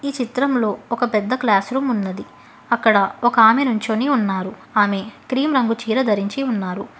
చిత్రంలో ఒక పెద్ద క్లాసు రూమ్ ఉన్నది అక్కడ ఒక ఆమె నించొని ఉన్నారు ఆమె క్రీమ్ రంగు చీర ధరించి ఉన్నారు.